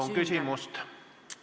Palun küsimus!